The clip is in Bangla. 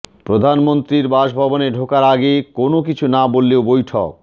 প্রধানমন্ত্রীর বাসভবনে ঢোকার আগে কোনও কিছু না বললেও বৈঠক